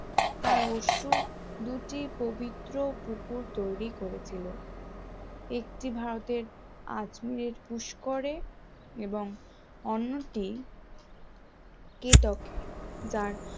তার অশ্রু দুটি পবিত্র পুকুর তৈরি করেছিল একটি ভারতের আজমির পুস্করে এবং অন্যটি কেতক যার